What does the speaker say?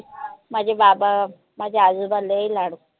माझे बाबा माझे आजोबा लय लाड